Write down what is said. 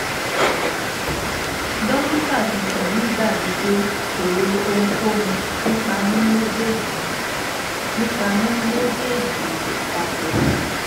dokita tuntun yii dabi pe ko ro ohunkohun nipa mu mejeeji nipa mu mejeeji papọ